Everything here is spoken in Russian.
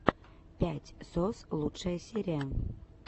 пять сос лучшая серия